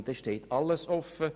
dann steht einem alles offen.